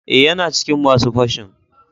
Eh, yana cikin masun fashin.